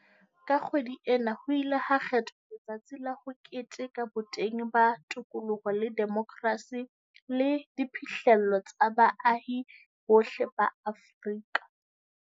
Ka kgwedi ena ho ile ha kgethwa letsatsi la ho keteka boteng ba tokoloho le demokrasi le diphihlello tsa baahi bohle ba Afrika.